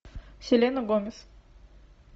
селена гомес